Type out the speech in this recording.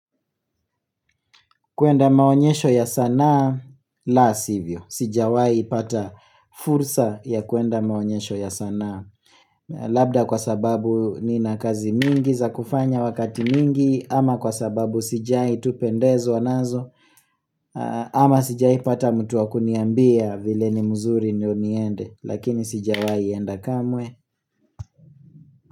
Kuenda maonyesho ya sanaa la sivyo Sijawai pata fursa ya kuenda maonyesho ya sanaa Labda kwa sababu nina kazi mingi za kufanya wakati mingi ama kwa sababu sijai tu pendezwa nazo ama sijaipata mtu wa kuniambia vile ni mzuri ndio niende Lakini sijawai enda kamwe.